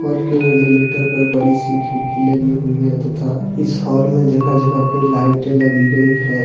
के वेंटिलेटर पर बड़ी सी खिड़की लगी हुई है तथा इस हाल में जगह जगह पर लाइटे लगी गई है।